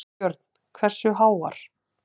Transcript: Björn: Hversu háar?